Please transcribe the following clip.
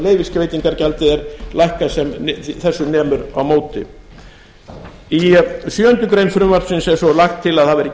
leyfisveitingargjaldið er lækkað sem þessu nemur á móti í sjöundu greinar frumvarpsins er svo lagt til að það verði